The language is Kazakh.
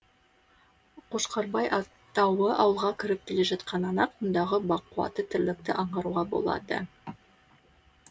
қошқарбай тауы ауылға кіріп келе жатқаннан ақ мұндағы бақуатты тірлікті аңғаруға болады